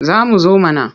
Za mu zo mana.